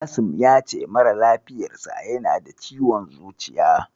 Kasim ya ce mara lafiyarsa yana da ciwon zuciya.